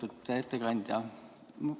Lugupeetud ettekandja!